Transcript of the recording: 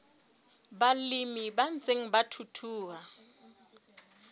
balemi ba ntseng ba thuthuha